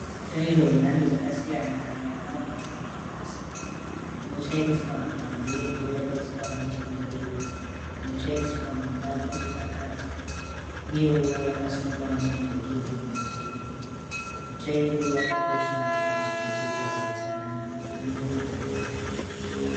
Mutsvairo yemhando dzakasiyana yakaunganidzwa pasi. Inotsairiswa panze ndiyo yakaiswa nechekumberi. Inotsvairiswa mumba ndiyo iri pakati. Uyewo yakasungwa nemarekeni matema. Mutsvairo yakakosha kuchengetedza utsanana Mumba nepanzene.